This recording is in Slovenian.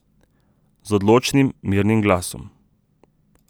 Z odločnim, mirnim glasom.